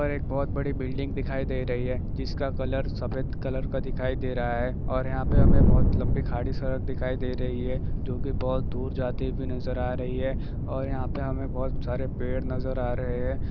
यहाँ पर एक बहोत बड़ी बिल्डिंग दिखाई दे रही है जिसका कलर सफेद कलर का दिखाई दे रहा है और यहाँ पर हमें बहोत लम्बी खाड़ी सड़क दिखाई दे रही है जो के बहोत दूर जाती हुई नजर आ रही है और यहाँ पर हमें बहोत सारे पेड़ नज़र आ रहे है।